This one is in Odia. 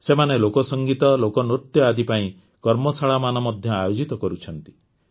ସେମାନେ ଲୋକସଙ୍ଗୀତ ଲୋକନୃତ୍ୟ ଆଦି ପାଇଁ କର୍ମଶାଳାମାନ ମଧ୍ୟ ଆୟୋଜିତ କରୁଛନ୍ତି